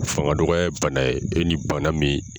Fangadɔgɔ ye bana ye e ni bana min.